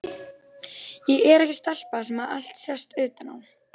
Ég er ekki stelpa sem allt sést utan á.